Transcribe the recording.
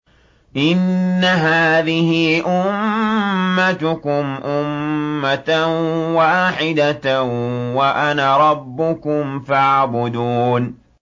إِنَّ هَٰذِهِ أُمَّتُكُمْ أُمَّةً وَاحِدَةً وَأَنَا رَبُّكُمْ فَاعْبُدُونِ